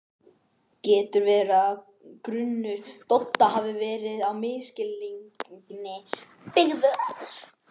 Getur verið að grunur Dodda hafi verið á misskilningi byggður?